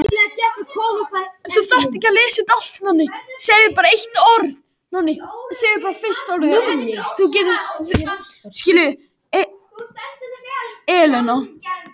Eleina, ekki fórstu með þeim?